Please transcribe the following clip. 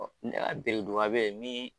be yen min